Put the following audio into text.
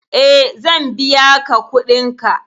E, zan biya ka kuɗinka.